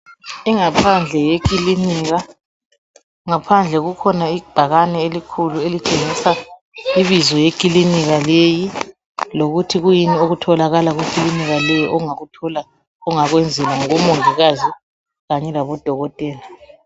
ingaphandle yeklinika ngaphandle kukhona ibhakane elikhulu elitshengisa ibizo leklinika leli lokuthi kuyini okutholakala kuklinika leyi ongakuthola ongakwenzela ngabo mongikazi kanye labodokotela